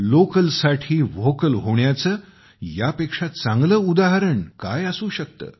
लोकलसाठी vocal होण्याचे यापेक्षा चांगले उदाहरण काय असू शकते